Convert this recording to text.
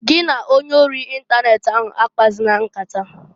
Gi na onye ori ịntanet ahụ akpazina nkata!